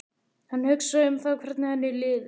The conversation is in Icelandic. Hann hugsaði um það hvernig henni liði.